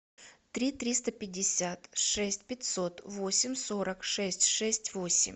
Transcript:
три триста пятьдесят шесть пятьсот восемь сорок шесть шесть восемь